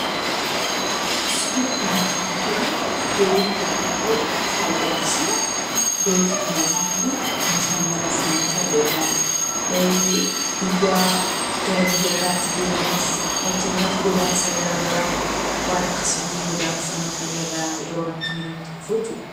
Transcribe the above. Suurri kanaa gaditti argamu, Doonii yemmuu ta'u, fayidaan isaa doonii sana irra taa'anii bashannanuuf nama fayyada , biyya gara biyyatti deemuuf, fakkeenyaaf, godaansa garaagaraa, waan akkasiitiin godaanuuf nama fayyada, yeroo rakkinni namatti dhufu jechuudha.